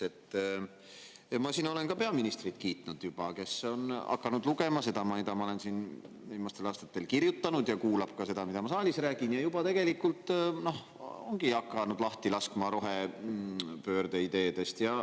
Ma olen siin juba kiitnud ka peaministrit, kes on hakanud lugema seda, mida ma olen siin viimastel aastatel kirjutanud, ja kuulab ka seda, mida ma saalis räägin, ning tegelikult ta ongi hakanud lahti laskma rohepöörde ideedest.